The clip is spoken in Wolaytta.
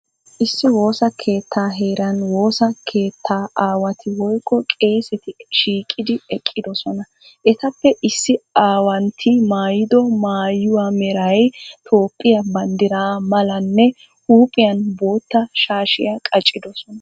Issi woosa keettaa heeran woosa keettaa aawati woykko Qeeseti shiiqidi eqqidosona. Etappe issi aawantti maayido maayuwa meray Toophiya banddira malanne huuphiyan boottaa shaashiya qacidosona.